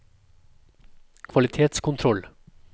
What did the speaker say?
kvalitetskontroll